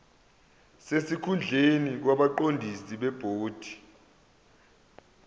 sesikhundleni kwabaqondisi bebhodi